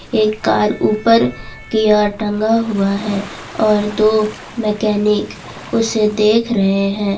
एक कार ऊपर की ओर टंगा हुआ है और दो मैकेनिक उसे देख रहे हैं।